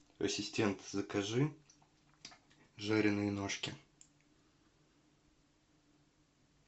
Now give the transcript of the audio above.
ассистент закажи жареные ножки